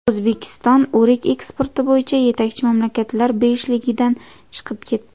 O‘zbekiston o‘rik eksporti bo‘yicha yetakchi mamlakatlar beshligidan chiqib ketdi.